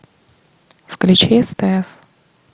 включи стс